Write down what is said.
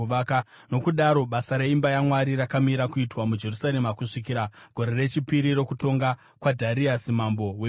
Nokudaro basa reimba yaMwari rakamira kuitwa muJerusarema kusvikira gore rechipiri rokutonga kwaDhariasi mambo wePezhia.